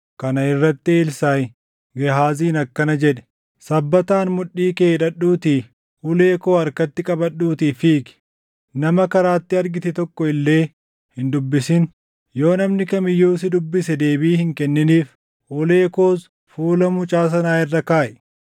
Kana irratti Elsaaʼi Gehaaziin akkana jedhe; “Sabbataan mudhii kee hidhadhuutii, ulee koo harkatti qabadhuutii fiigi. Nama karaatti argite tokko illee hin dubbisin; yoo namni kam iyyuu si dubbise deebii hin kenniniif; ulee koos fuula mucaa sanaa irra kaaʼi.”